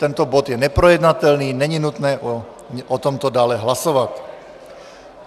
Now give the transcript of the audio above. Tento bod je neprojednatelný, není nutné o tomto dále hlasovat.